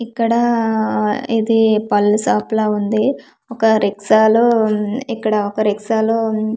ఇక్కడ ఆ ఇది పండ్ల షాప్ లా ఉంది ఒక రిక్షాలో ఇక్కడ ఒక రిక్షాలో --